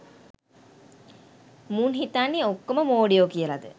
මුන් හිතන්නේ ඔක්කොම මොඩයෝ කියලද